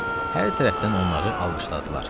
Hər tərəfdən onları alqışladılar.